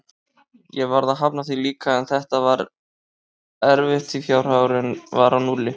Ég varð að hafna því líka, en þetta var erfitt því fjárhagurinn var á núlli.